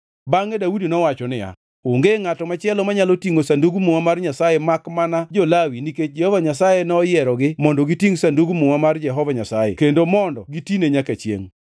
Bangʼe Daudi nowacho niya, “Onge ngʼato machielo manyalo tingʼo Sandug Muma mar Nyasaye makmana jo-Lawi nikech Jehova Nyasaye noyierogi mondo gitingʼ Sandug Muma mar Jehova Nyasaye kendo mondo gitine nyaka chiengʼ.”